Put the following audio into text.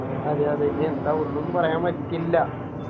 അതെയതെ ഇനി എന്താ ഒന്നും പറയാൻ പറ്റില്ല